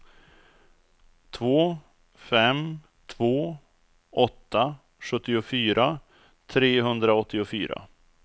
två fem två åtta sjuttiofyra trehundraåttiofyra